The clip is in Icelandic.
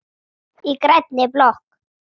Í grænni blokk